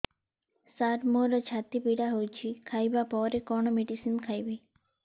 ସାର ମୋର ଛାତି ପୀଡା ହଉଚି ଖାଇବା ପରେ କଣ ମେଡିସିନ ଖାଇବି